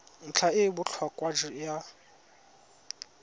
ntlha e e botlhokwa ya